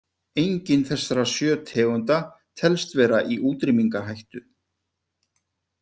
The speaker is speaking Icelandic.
Engin þessara sjö tegunda telst vera í útrýmingarhættu.